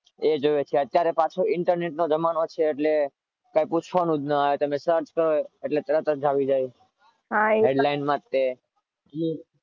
એ જુવે અત્યારે પાછો ઇન્ટરનેટનો જમાનો છે. એટલે કઈ પૂછવાનું ના જ આવે તમે search કરો એટલે તરત જ આવી જાય headline માં તે